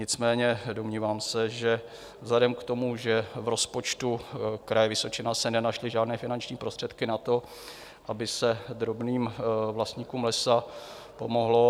Nicméně domnívám se, že vzhledem k tomu, že v rozpočtu Kraje Vysočina se nenašly žádné finanční prostředky na to, aby se drobným vlastníkům lesa pomohlo.